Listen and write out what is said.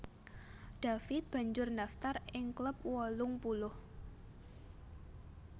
David banjur ndaftar ing klub wolung puluh